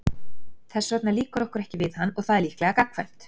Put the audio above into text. Þess vegna líkar okkur ekki við hann og það er líklega gagnkvæmt.